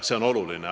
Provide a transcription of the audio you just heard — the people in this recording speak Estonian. See on oluline.